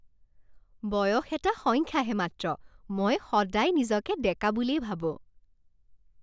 বয়স এটা সংখ্যাহে মাত্ৰ। মই সদায় নিজকে ডেকা বুলিয়েই ভাবোঁ।